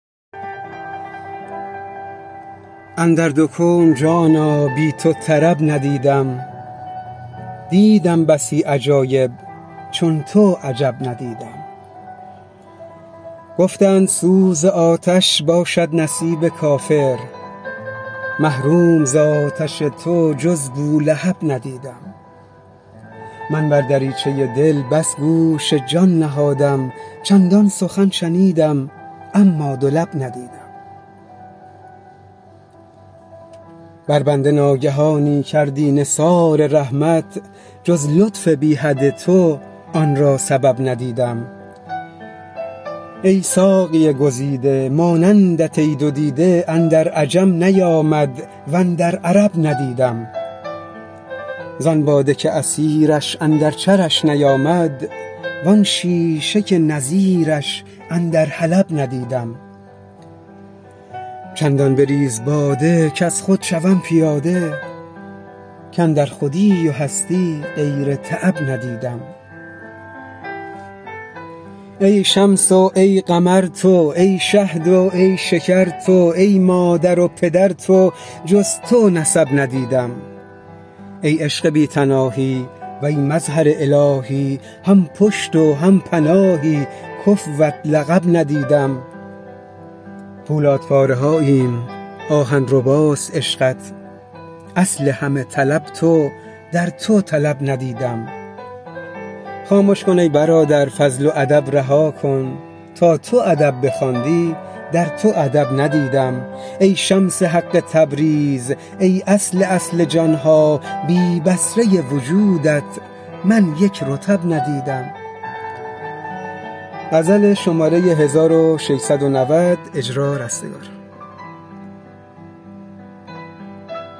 اندر دو کون جانا بی تو طرب ندیدم دیدم بسی عجایب چون تو عجب ندیدم گفتند سوز آتش باشد نصیب کافر محروم ز آتش تو جز بولهب ندیدم من بر دریچه دل بس گوش جان نهادم چندان سخن شنیدم اما دو لب ندیدم بر بنده ناگهانی کردی نثار رحمت جز لطف بی حد تو آن را سبب ندیدم ای ساقی گزیده مانندت ای دو دیده اندر عجم نیامد و اندر عرب ندیدم زان باده که عصیرش اندر چرش نیامد وان شیشه که نظیرش اندر حلب ندیدم چندان بریز باده کز خود شوم پیاده کاندر خودی و هستی غیر تعب ندیدم ای شمس و ای قمر تو ای شهد و ای شکر تو ای مادر و پدر تو جز تو نسب ندیدم ای عشق بی تناهی وی مظهر الهی هم پشت و هم پناهی کفوت لقب ندیدم پولادپاره هاییم آهن رباست عشقت اصل همه طلب تو در تو طلب ندیدم خامش کن ای برادر فضل و ادب رها کن تا تو ادب بخواندی در تو ادب ندیدم ای شمس حق تبریز ای اصل اصل جان ها بی بصره وجودت من یک رطب ندیدم